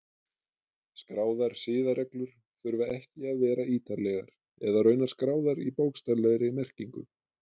Skráðar siðareglur þurfa ekki að vera ítarlegar eða raunar skráðar í bókstaflegri merkingu.